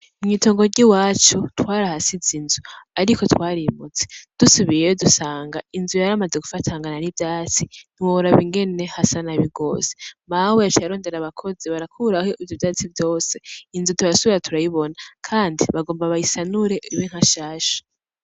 Mw’itongo ry’iwacu twarahasize inzu, ariko twarimutse ; dusubiyeyo dusanga inzu yaramaze gufatangana n’ivyatsi ntiworaba ingene hasa nabi gwose. Mawe yaciye arondera abakozi barakuraho ivyo vyatsi vyose inzu turasubira kuyibona kandi bagomba bayisanure ibe nkanshasha.